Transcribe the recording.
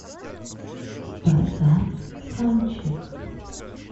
поставь ханчик